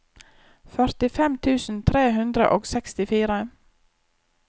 førtifem tusen tre hundre og sekstifire